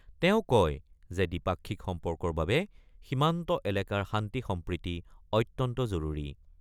তেওঁ কয় যে দ্বিপাক্ষিক সম্পৰ্কৰ বাবে সীমান্ত এলেকাৰ শান্তি-সম্প্ৰীতি অত্যন্ত জৰুৰী।